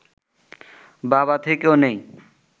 বাবা থেকেও নেই